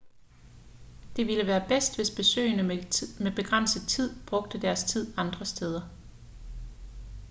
det ville være bedst hvis besøgende med begrænset tid brugte deres tid andre steder